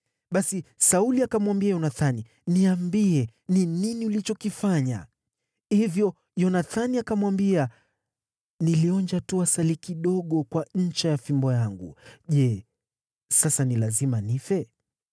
Basi Sauli akamwambia Yonathani, “Niambie ni nini ulichokifanya.” Hivyo Yonathani akamwambia, “Nilionja tu asali kidogo kwa ncha ya fimbo yangu. Je, sasa ni lazima nife?”